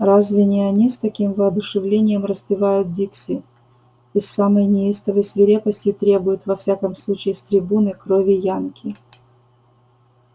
разве не они с таким воодушевлением распевают дикси и с самой неистовой свирепостью требуют во всяком случае с трибуны крови янки